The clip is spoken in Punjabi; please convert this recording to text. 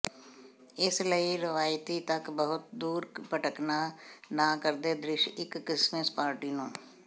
ਇਸ ਲਈ ਰਵਾਇਤੀ ਤੱਕ ਬਹੁਤ ਦੂਰ ਭਟਕਣਾ ਨਾ ਕਰਦੇ ਦ੍ਰਿਸ਼ ਇੱਕ ਕ੍ਰਿਸਮਸ ਪਾਰਟੀ ਨੂੰ